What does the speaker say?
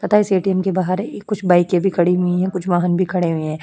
पता है इस ए.टी.एम. के बाहर ए कुछ बाइके भी खड़ी हुई हैं।